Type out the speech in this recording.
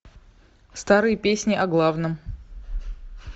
старые песни о главном